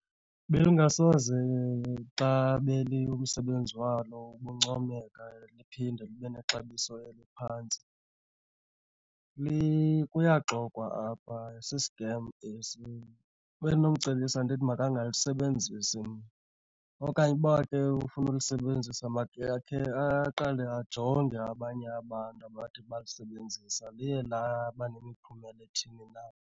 Belingasoze xa umsebenzi walo ubuncomeka liphinde libe nexabiso eliphantsi, kuyaxoxwa apha sisikem esi. Bendinomcebisa ndithi makangalisebenzisi mna, okanye uba ke ufuna ulisebenzisa makhe ake aqale ajonge abanye abantu abathe balisebenzisa liye laba nemiphumela ethini na.